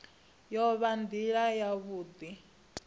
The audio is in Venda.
i o vha nila yavhui